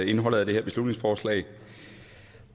indholdet af det her beslutningsforslag